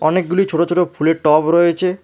অনেকগুলি ছোট ছোট ফুলের টব রয়েছে।